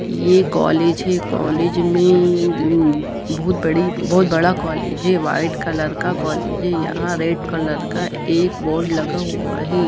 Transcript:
ये कॉलेज है कॉलेज में बहुत बड़ी बोहोत बड़ा कॉलेज है व्हाइट कलर का कॉलेज है यहाँ रेड कलर का एक बोर्ड लगा हुआ है।